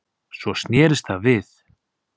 Svo snerist það við